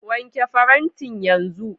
Wanke farantin yanzu.